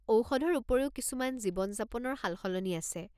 ঔষধৰ উপৰিও কিছুমান জীৱন-যাপনৰ সালসলনি আছে।